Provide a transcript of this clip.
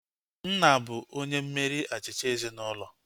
Nna bụ onye mmeri achịcha ezinaụlọ